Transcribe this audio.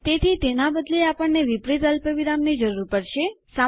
તેથી તેના બદલે આપણને વિપરીત અલ્પવિરામ ની જરૂર પડશે